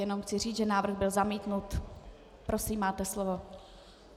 Jenom chci říct, že návrh byl zamítnut. Prosím, máte slovo.